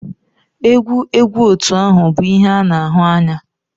egwu egwu otu ahụ bụ ihe a na-ahụ anya.